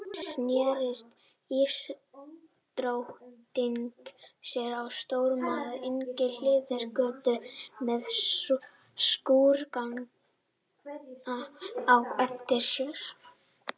Skyndilega sneri ísdrottningin sér og stormaði inn hliðargötu með skúrkana á eftir sér.